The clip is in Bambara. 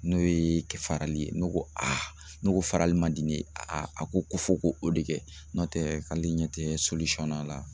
N'o ye kɛ farali ye ne ko ne ko farali man di ne ye a ko ko fɔ ko o de kɛ n'o tɛ k'ale ɲɛ tɛ a la.